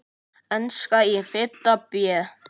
Enska í fimmta bé.